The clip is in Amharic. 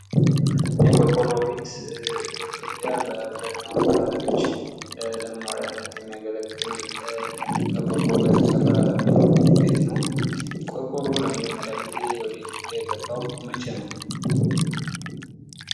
የቆርቆሮ ቤት በኢትዮጵያ በአብዛኛው አካባቤዎች ለመኖሪያነት የሚያገለግል በቆርቆሮ የተሰራ ቤት ነው። ቆርቆሮ ለመጀመሪይቅ ጊዜ ወደ ኢትዮጵያ የገባው መቸ ነው?